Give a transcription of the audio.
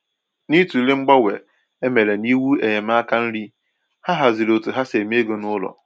N’ịtụle mgbanwe e mere n’iwu enyemaka nri, ha hazịrị otú ha si eme égo n'ụlọ